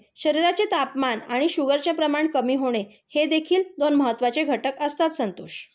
शरीराचे तापमान आणि शुगरचे प्रमाण कमी होणे, हे देखील दोन महत्वाचे घटक असतात संतोष.